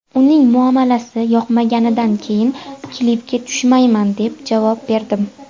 Uning muomalasi yoqmaganidan keyin klipga tushmayman, deb javob berdim.